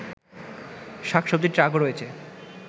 শাকসবজির ট্রাকও রয়েছে